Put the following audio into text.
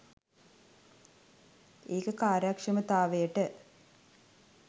ඒක කාර්යක්ෂමතාවයට